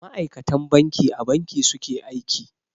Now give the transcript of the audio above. Ma'akatan banki a Banki su ke aiki.